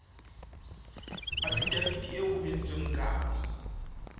afidaviti eo ho entsweng kano